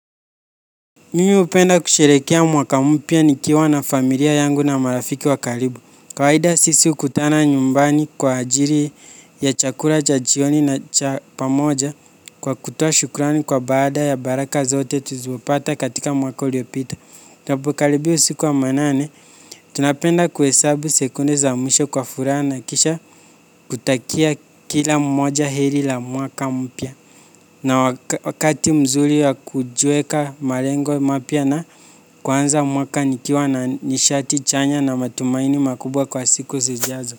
Mimi hupenda kusherekea mwaka mpya nikiwa na familia yangu na marafiki wa karibu. Kawaida sisi hukutana nyumbani kwa ajili ya chakula cha jioni na cha pamoja kwa kutoa shukrani kwa baada ya baraka zote tulizopata katika mwaka uliopita. Tunapokaribia usiku wa manane, tunapenda kuhesabu sekunde za mwisho kwa furaha na kisha kutakia kila mmoja heri la mwaka mpya. Na wakati mzuri ya kujiweka malengo mapya na kuanza mwaka nikiwa na nishati chanya na matumaini makubwa kwa siku zijazo.